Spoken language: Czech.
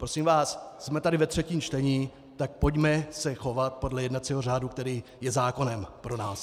Prosím vás, jsme tady ve třetím čtení, tak pojďme se chovat podle jednacího řádu, který je zákonem pro nás.